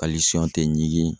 tɛ ɲigin